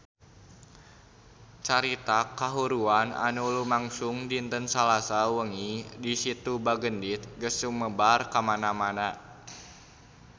Carita kahuruan anu lumangsung dinten Salasa wengi di Situ Bagendit geus sumebar kamana-mana